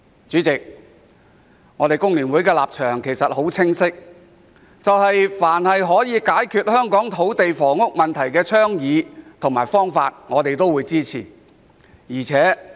主席，工聯會的立場很清晰，凡是可解決香港土地房屋問題的倡議和方法，我們都會支持。